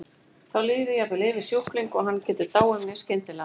Þá líður jafnvel yfir sjúkling og hann getur dáið mjög skyndilega.